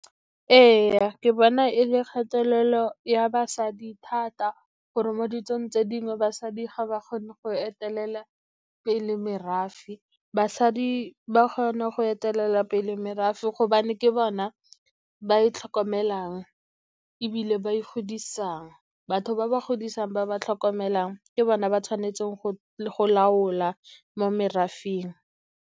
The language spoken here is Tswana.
Ee, ke bona e le kgatelelo ya basadi thata gore mo ditsong tse dingwe basadi ga ba kgone go etelela pele merafe. Basadi ba kgona go etelela pele merafe, gobane ke bona ba e tlhokomelang ebile ba e godisang. Batho ba ba godisang, ba ba tlhokomelang ke bona ba tshwanetseng go laola mo merafeng.